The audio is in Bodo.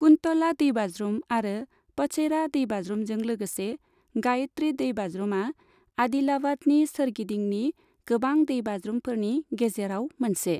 कुन्तला दैबाज्रुम आरो पचेरा दैबाज्रुमजों लोगोसे गायत्री दैबाज्रुमा आदिलाबादनि सोरगिदिंनि गोबां दैबाज्रुमफोरनि गेजेराव मोनसे।